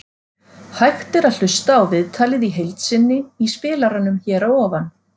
Hægt er að hlusta á viðtalið í heild sinni í spilaranum hér að ofan.